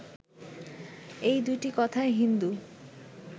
এই দুইটি কথায় হিন্দু